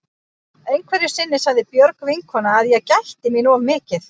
Einhverju sinni sagði Björg vinkona að ég gætti mín of mikið.